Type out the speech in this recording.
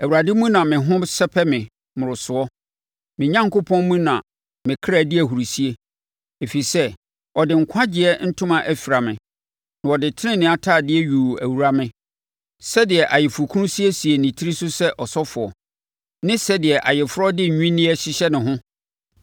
Awurade mu na me ho sɛpɛ me mmorosoɔ, me Onyankopɔn mu na me ɔkra di ahurisie. Ɛfiri sɛ, ɔde nkwagyeɛ ntoma afira me na ɔde tenenee atadeɛ yuu awura me, sɛdeɛ ayeforɔkunu siesie me tiri so sɛ ɔsɔfoɔ, ne sɛdeɛ ayɛforɔ de nnwinneɛ hyehyɛ ne ho.